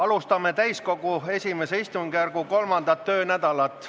Alustame täiskogu I istungjärgu 3. töönädalat.